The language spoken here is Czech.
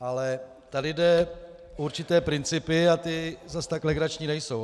Ale tady jde o určité principy a ty zas tak legrační nejsou.